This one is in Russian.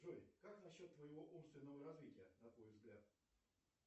джой как насчет твоего умственного развития на твой взгляд